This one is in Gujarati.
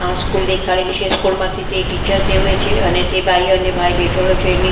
આ સ્કૂલ દેખાડેલી છે સ્કૂલ માંથી તે ટીચર જેવે છે અને તે બાય અને ભાઈ બેઠેલો છે ને --